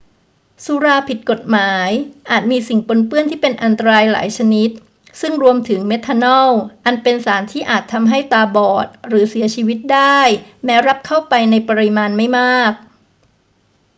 สุราผิดกฎหมายอาจมีสิ่งปนเปื้อนที่เป็นอันตรายหลายชนิด ซึ่งรวมถึงเมทานอล อันเป็นสารที่อาจทำให้ตาบอดหรือเสียชีวิตได้แม้รับเข้าไปในปริมาณไม่มาก